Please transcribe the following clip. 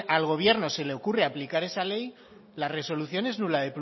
al gobierno se le ocurre aplicar esa ley la resolución es nula